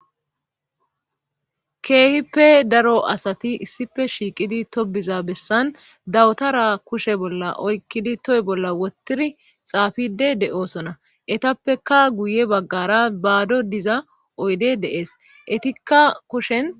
keehipe daro asati issife shiiqidi tobiza bessan dawutara kushe bolla oykkidi toy bolla wotiri xaafide de7oosona etappeka guye baggara baado diza oydey de'ees etikka kushen